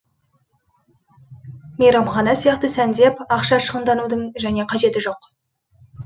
мейрамхана сияқты сәндеп ақша шығындаудың және қажеті жоқ